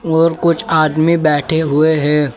और कुछ आदमी बैठे हुए हैं।